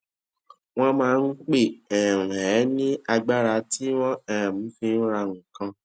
wón máa ń pè um é ní agbára tí wón um fi ń ra nǹkan